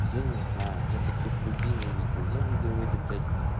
я не знаю я таких людей не видел я видел этих блять